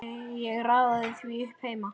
Ég raðaði því upp heima.